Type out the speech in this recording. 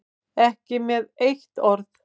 Ekki með eitt orð.